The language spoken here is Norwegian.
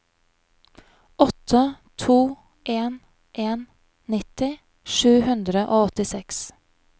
åtte to en en nitti sju hundre og åttiseks